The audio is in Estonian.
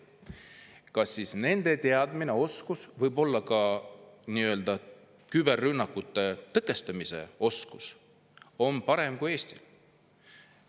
Kas siis nende teadmine ja oskus, võib-olla ka küberrünnakute tõkestamise oskus on parem kui Eestis?